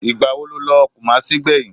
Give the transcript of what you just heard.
Ìgbà wo ni o lọ kumasi gbẹ̀yìn?